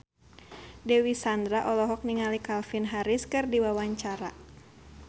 Dewi Sandra olohok ningali Calvin Harris keur diwawancara